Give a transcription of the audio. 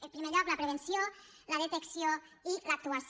en primer lloc la prevenció la detecció i l’actuació